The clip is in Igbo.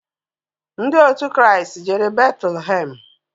Ndị òtù Christ jere Betulhem.